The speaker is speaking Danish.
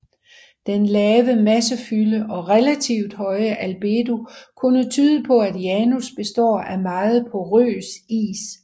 Den lave massefylde og relativt høje albedo kunne tyde på at Janus består af meget porøs is